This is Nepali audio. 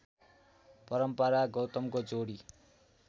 परम्परा गौतमको जोडी